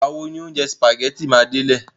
Ìgbà wo ni oúnjẹ sìpàgẹ́tì mi máa délẹ̀?